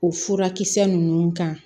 O furakisɛ ninnu kan